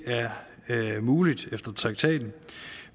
er muligt efter traktaten